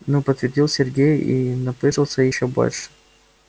ну подтвердил сергей и напыжился ещё больше